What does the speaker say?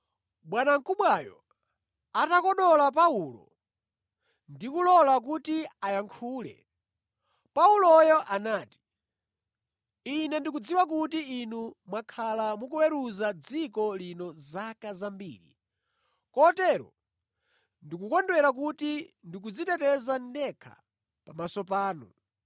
Bwanamkubwayo atakodola Paulo ndi kulola kuti ayankhule, Pauloyo anati, “Ine ndikudziwa kuti inu mwakhala mukuweruza dziko lino zaka zambiri, kotero ndikukondwera kuti ndikudziteteza ndekha pamaso panu.